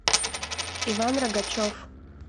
иван рогачев